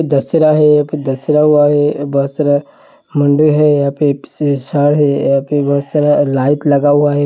दसरा है फिर दसहरा हुआ है बहोत सारा है यहाँ पे है यहाँ पे बोहोत सारा लाइट लगा हुआ है।